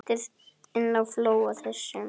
Ekkert að þakka, segi ég.